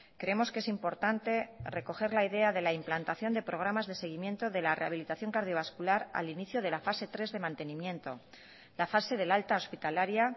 creemos que es importante recoger la idea de la implantación de programas de seguimiento de la rehabilitación cardiovascular al inicio de la fase tres de mantenimiento la fase del alta hospitalaria